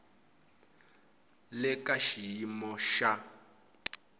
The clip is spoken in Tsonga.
le ka xiyimo xa le